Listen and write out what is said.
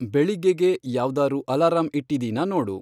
ಬೆಳಿಗ್ಗೇಗೆ ಯಾವ್ದಾರೂ ಅಲಾರಂ ಇಟ್ಟಿದೀನಾ ನೋಡು